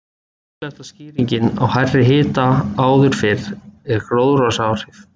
Líklegasta skýringin á hærri hita áður fyrr er gróðurhúsaáhrif.